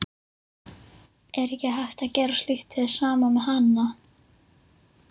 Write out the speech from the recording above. Er ekki hægt að gera slíkt hið sama með hanana?